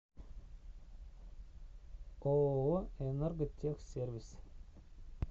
ооо энерготехсервис